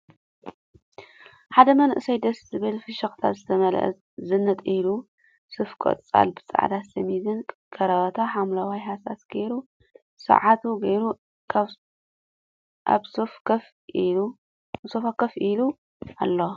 ሓደ መንእሰይ ደስ ዝብል ፍሕክታ ዝተመልኦ ዝንጥ ኢሉ ሱፍ ቆፃል ብፃዕዳ ሸሚዝን ካራባት ሓምለዋይ ሃሳስ ጌሩ፣ ሰዓት ቱ ጌሩ ኣብ ሶፋ ኮፍ ኢሉ ኣሎ።